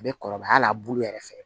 A bɛ kɔrɔbaya al'a bulu yɛrɛ fɛ